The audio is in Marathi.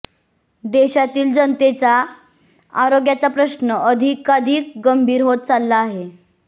देशातील जनतेचा आरोग्याचा प्रश्न अधिकाधिक गंभीर होत चालला आहे